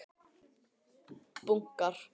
Bunkar af teikningum liggja eftir einn morgun.